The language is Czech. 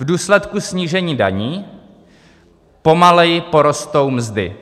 V důsledku snížení daní pomaleji porostou mzdy.